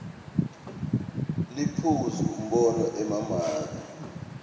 liphuzu umbono emamaki